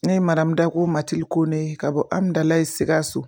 Ne ye madamu Dakuyo Matilidi Kone ka bɔ Hamidalayi Sikaso